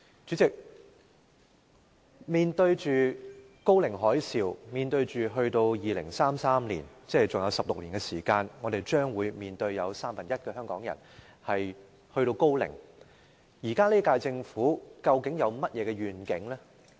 主席，面對"高齡海嘯"，在2033年，即還有16年，將有三分之一的香港人達至高齡，現屆政府究竟有何願景？